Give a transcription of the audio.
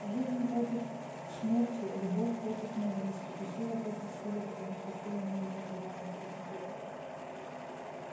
жизнь против смерти любовь против ненависти и сила против силы потому что сила не имеет моральных категорий